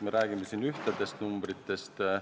Me räägime siin ühtedest numbritest.